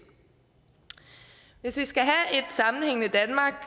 hvis vi skal